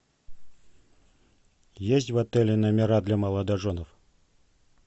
есть в отеле номера для молодоженов